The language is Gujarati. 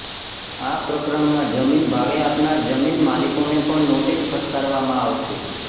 આ પ્રકરણમાં જમીન ભાડે આપનાર જમીન માલિકોને પણ નોટિસ ફટકારવામાં આવશે